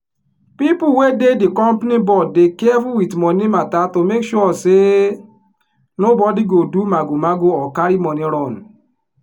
people wey dey di company board dey careful with money matter to make sure say nobody go do magomago or carry money run.